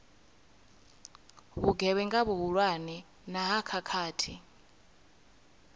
vhugevhenga vhuhulwane na ha khakhathi